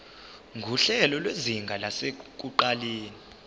nguhlelo lwezinga lasekuqaleni